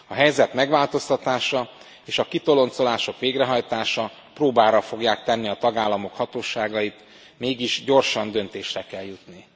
A helyzet megváltoztatása és a kitoloncolások végrehajtása próbára fogják tenni a tagállamok hatóságait, mégis gyorsan döntésre kell jutni.